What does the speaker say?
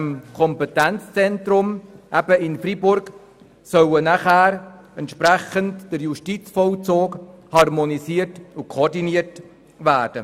Im Kompetenzzentrum in Freiburg soll dann entsprechend der Justizvollzug harmonisiert und koordiniert werden.